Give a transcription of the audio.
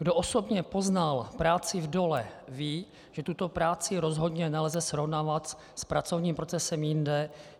Kdo osobně poznal práci v dolech, ví, že tuto práci rozhodně nelze srovnávat s pracovním procesem jinde.